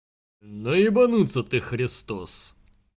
ну ебанутся ты христос